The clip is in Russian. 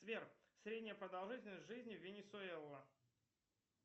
сбер средняя продолжительность жизни венесуэла